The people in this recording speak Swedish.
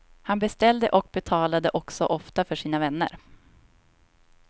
Han beställde och betalade också ofta för sina vänner.